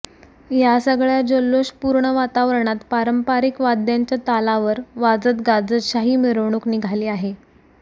या सगळ्या जल्लोष पूर्ण वातावरणात पारंपारीक वाद्यांच्या तालावर वाजत गाजत शाही मिरवणुक निघाली आहे